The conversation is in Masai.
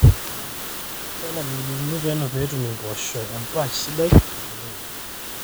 intalam iululuni peno pee etum impoosho empaash sidai nabulunye